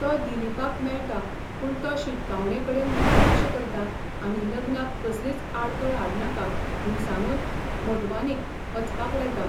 तो दिलीपाक मेळटा, पूण तो शिटकावणेकडेन दुर्लक्ष करता आनी लग्नाक कसलीच आडखळ हाडनाका म्हूण सांगून मोटवानीक वचपाक लायता.